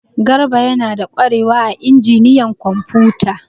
Garba yana da kwarewa a injiniyan kwamfuta.